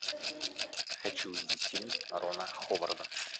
хочу увидеть фильм рона ховарда